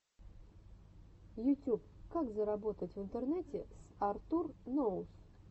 ютюб как заработать в интернете с артур ноус